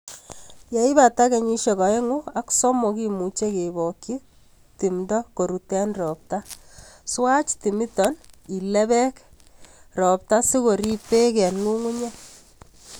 Leibata kenyisiek oeng'u ak somok kimuche kebokyi timdo korut en ropta. Swach timiton ilebek ropta sikorib beek en ng'ung'unyek.